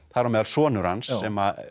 þar á meðal sonur hans sem